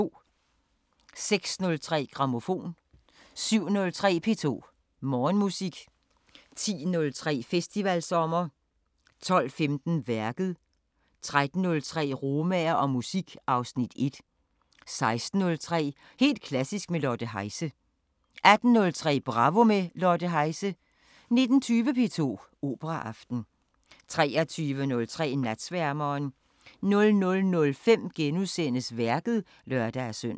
06:03: Grammofon 07:03: P2 Morgenmusik 10:03: Festivalsommer 12:15: Værket 13:03: Romaer og musik (Afs. 1) 16:03: Helt klassisk med Lotte Heise 18:03: Bravo – med Lotte Heise 19:20: P2 Operaaften 23:03: Natsværmeren 00:05: Værket *(lør-søn)